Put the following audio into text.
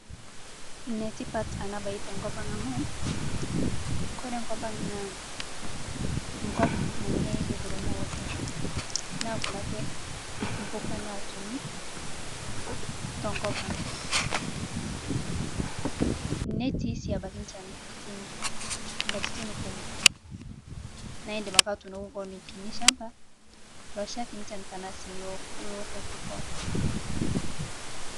Netipat ana bayi to nkopang amu kore nkopang' naa nkop nanyai ng'urumua oleng, naa kuna ake mbukaa natuumi to nkopang'. Netii sii abaki nchaan nkatitin, nkatitin kumook. Naa idiim ake atuunoki koon kinii lchambaa loshaaki nchaan tana sii loo.